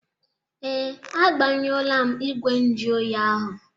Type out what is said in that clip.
Ee, agbanyuọọla m igwe njụ oyi ahụ.